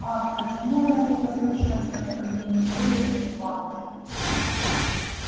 ах почему она не послушалась наставление эллин и мамушки